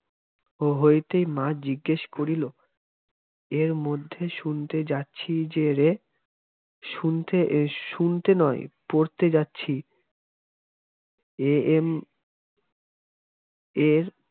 হইতেই মা জিজ্ঞেস করিল এর মধ্যে শুনতে যাচ্ছি যে রে শুনতে নয় পড়তে যাচ্ছি এ এম. এর